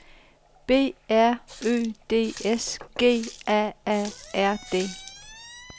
B R Ø D S G A A R D